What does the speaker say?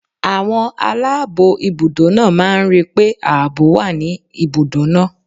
Àwọn aláàbọ̀ ibùdó náà máa ń rí pé ààbò wà ní ibùdó náà.